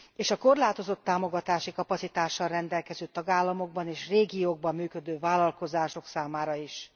és a korlátozott támogatási kapacitással rendelkező tagállamokban és régiókban működő vállalkozások számára is.